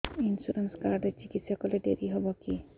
insurance card ରେ ଚିକିତ୍ସା କଲେ ଡେରି ହବକି